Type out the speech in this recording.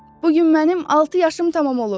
Bu gün mənim altı yaşım tamam olur.